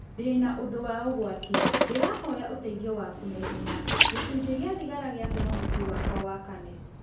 Ndĩna ũndũ wa ũgwati, ndĩrahoya ũteithio waku na ihenya. Gĩcunjĩ gĩa thigara gĩatũma mũciĩ wakwa wakane.